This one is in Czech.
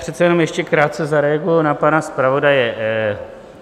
Přece jenom ještě krátce zareaguji na pana zpravodaje.